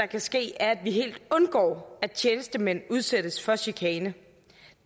kan ske er at vi helt undgår at tjenestemænd udsættes for chikane